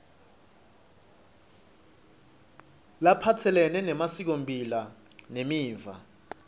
laphatselene nemasikomphilo nemiva